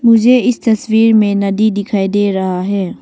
मुझे इस तस्वीर में नदी दिखाई दे रहा है।